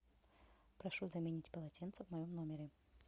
прошу заменить полотенце в моем номере